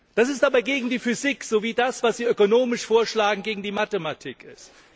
Das ist aber gegen die Physik, so wie das, was Sie ökonomisch vorschlagen, gegen die Mathematik ist.